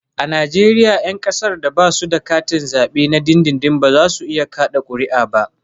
A Najeriya 'yan kasar da ba su da katin zabe na dindindin ba za su iya kada kuri'a ba